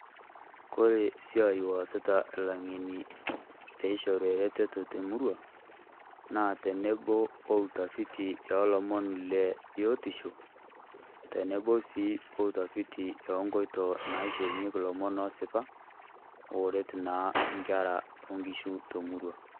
Kore esiai naasita ilang'eni peishori eretoto temurua otenebo sii outafuti ebiotisho otenebo sii outafuti ok nkoitoi naishorunyieki ilomon oosipa ooret naa Inkera o Nkishu temurua.